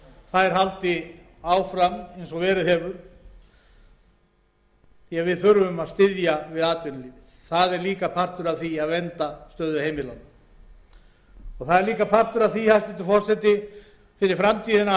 þær haldi áfram eins og verið hefur því að við þurfum að styðja við atvinnulífið það er líka partur af því að vernda stöðu heimilanna partur af því hæstvirtur forseti fyrir framtíðina er líka að